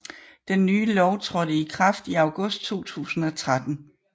Den nye lov trådte i kraft i august 2013